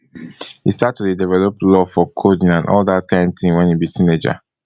e start to dey develop love for coding and all dat kain tin wen e be teenager